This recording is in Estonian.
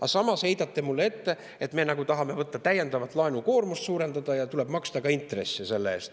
Aga samas heidate mulle ette, et me nagu tahaksime võtta täiendavalt, laenukoormust suurendada ja tuleb maksta ka intresse.